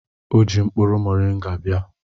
Ọ jiri mkpụrụ mọrịnga bịa.